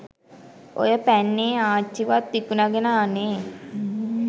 ඔය පැන්නේ ආච්චිවත් විකුණගෙන අනේ